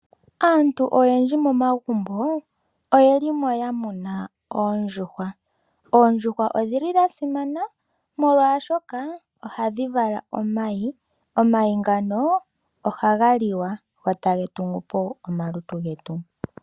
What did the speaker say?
Aantu oyendji momagumbo oyelimo ya muna oondjuhwa. Oondjuhwa odhili dha simana molwaashoka ohadhi vala omayi, omayi ngano ohaga liwa, go ta ga tungupo omalutu getu.